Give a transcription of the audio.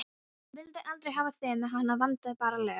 Hún vildi aldrei hafa þig með, hana vantaði bara lög.